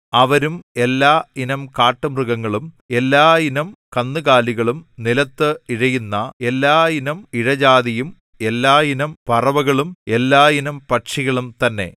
അവരും എല്ലാ ഇനം കാട്ടുമൃഗങ്ങളും എല്ലാ ഇനം കന്നുകാലികളും നിലത്ത് ഇഴയുന്ന എല്ലാ ഇനം ഇഴജാതിയും എല്ലാ ഇനം പറവകളും എല്ലാ ഇനം പക്ഷികളും തന്നെ